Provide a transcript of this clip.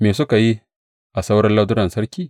Me suka yi a sauran lardunan sarki?